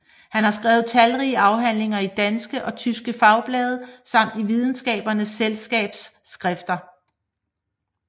Han har skrevet talrige afhandlinger i danske og tyske fagblade samt i Videnskabernes Selskabs skrifter